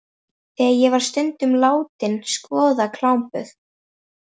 Þar var ég stundum látin skoða klámblöð.